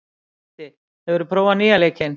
Eddi, hefur þú prófað nýja leikinn?